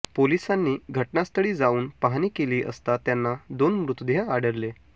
पोलिसांनी घटनास्थळी जाऊन पाहणी केली असता त्यांना दोन मृतदेह आढळले